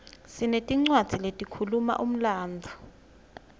sinetincwadzi letikhuluma umlandvo